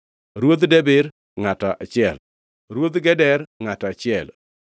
Ruodh Debir, ngʼato achiel, Ruodh Geder, ngʼato achiel,